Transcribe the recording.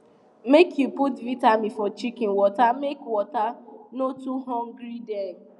make you put vitamin for chicken water make water no too hungry dem